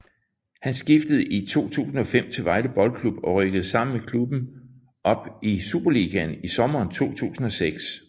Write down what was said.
Han skiftede i 2005 til Vejle Boldklub og rykkede sammen med klubben op i Superligaen i sommeren 2006